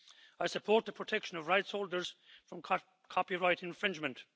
I support the protection of rights holders from copyright infringement.